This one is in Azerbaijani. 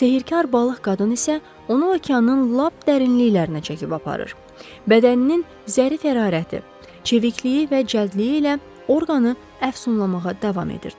Sehirkar balıq qadın isə onu okeanın lap dərinliklərinə çəkib aparır, bədəninin zərif hərarəti, çevikliyi və cəldliyi ilə orqanı əfsunlamağa davam edirdi.